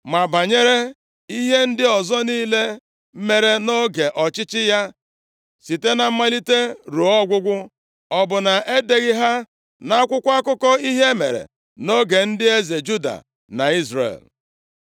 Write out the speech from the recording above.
Ma banyere ihe ndị ọzọ niile mere nʼoge ọchịchị ya, site na mmalite ruo ọgwụgwụ, ọ bụ na e deghị ha nʼakwụkwọ akụkọ ihe mere nʼoge ndị eze Juda na Izrel?